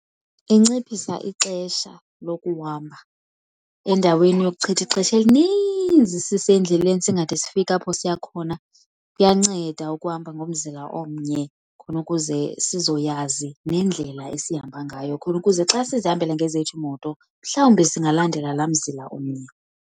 Inciphisa ixesha lokuhamba. Endaweni yokuchitha ixesha elininzi sisendleleni singade sifike apho siya khona kuyanceda ukuhamba ngomzila omnye khona ukuze sizoyazi nendlela esihamba ngayo khona ukuze xa sizihambele ngezethu iimoto mhlawumbi singalandela laa mzila umnye.